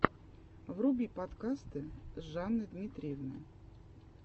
вруби подкасты жанны дмитриевны